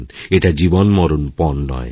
এটা জীবনমরণ পণ নয়